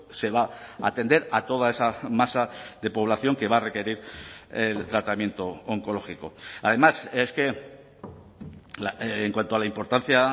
se va a atender a toda esa masa de población que va a requerir el tratamiento oncológico además es que en cuanto a la importancia